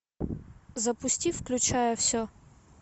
запусти включая все